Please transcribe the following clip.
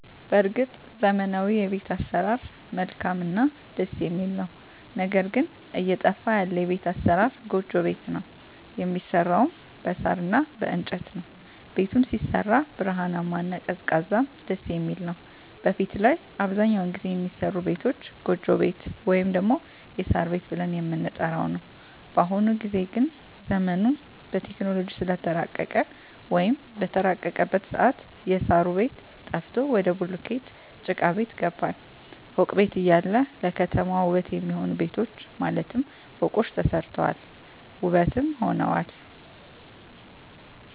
በርግጥ ዘመናዊዉ የቤት አሰራር መልካምእና ደስ የሚል ነዉ ነገር ግን እየጠፋ ያለ የቤት አሰራር ጎጆ ቤት ነዉ የሚሰራዉም በሳር እና በእንጨት ነዉ ቤቱም ሲሰራ ብርሃናማ እና ቀዝቃዛም ደስየሚል ነዉ በፊት ላይ አብዛኛዉን ጊዜ የሚሰሩ ቤቶች ጎጆ ቤት ወይም ደግሞ የሳር ቤት ብለን የምንጠራዉ ነዉ በአሁኑ ጊዜ ግን ዘመኑም በቴክኖሎጂ ስለተራቀቀ ወይም በተራቀቀበት ሰአት የእሳሩ ቤት ጠፍቶ ወደ ቡሉኬት ጭቃቤት ገባን ፎቅ ቤት እያለ ለከተማዋ ዉበት የሚሆኑ ቤቶች ማለትም ፎቆች ተሰርተዋል ዉበትም ሆነዋል